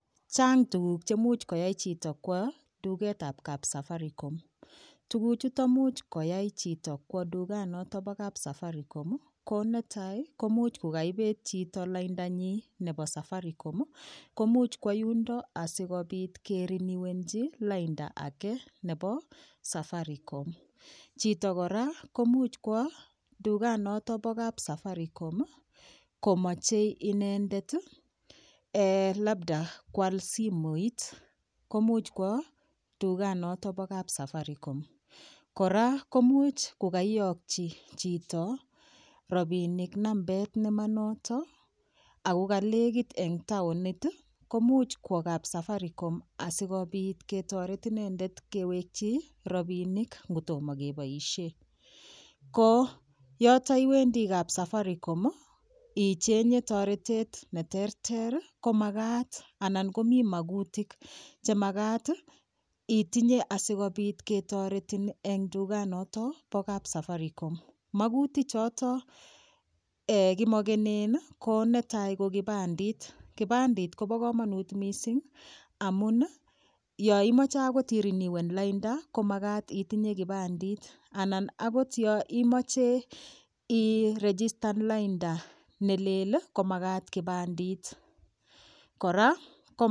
Chang' tuguk chemuch koyai chito kwo tugetab kapsafaricom tuguchuto muuch koyai chito kwo tuganiloto bo kapsafaricom ko netai ko imuuch kukaibet chito laindanyi nebo safaricom ko muuch kwo yundo asikobit keriniwenji lainda age nebo safaricom chito kora ko muuch kwo tuganoto bo kapsafaricom komochei inendet labda kwal simoit ko muuch kwo tuganoto bo kapsafaricom kora ko muuch kukaiyokchi chito rabinik nambet nemanoto ako kaleket eng' taonit ko muuch kwo kapsafaricom asikobit ketoret inendet kewekchi robinik ngotomo keboishe ko yoto iwendi kapsafaricom ichenye toretet neterter komakat anan komi makutik chemakat itinye asikobit ketoretin eng tuganoto bo kapsafaricom mokutichoto kimokenen ko netai ko kipandit, kipandit kobo kamanut mising' amun yo imoche akot iriniwen laida komakat itinye kipandit anan akot yo imoche iregitan lainda nelel komakat kipandit